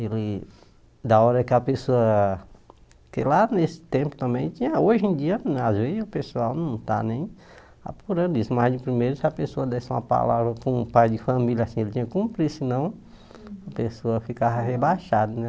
Ele, da hora que a pessoa, que lá nesse tempo também tinha, hoje em dia, às vezes o pessoal não está nem apurando isso, mas de primeiro, se a pessoa desse uma palavra com o pai de família, assim, ele tinha que cumprir, senão a pessoa ficava rebaixada, né?